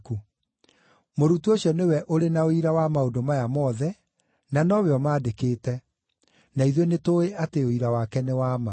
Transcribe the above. Mũrutwo ũcio nĩwe ũrĩ na ũira wa maũndũ maya mothe, na nowe ũmaandĩkĩte. Na ithuĩ nĩtũũĩ atĩ ũira wake nĩ wa ma.